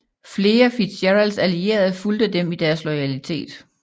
Flere FitzGeralds allierede fulgte dem i deres loyalitet